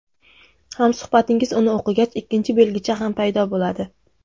Hamsuhbatingiz uni o‘qigach, ikkinchi belgicha ham paydo bo‘ladi.